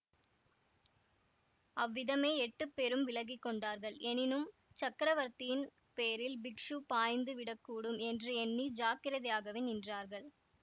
அவ்விதமே எட்டுப் பேரும் விலகி கொண்டார்கள் எனினும் சக்கரவர்த்தியின் பேரில் பிக்ஷு பாய்ந்து விடக்கூடும் என்று எண்ணி ஜாக்கிரதையாகவே நின்றார்கள்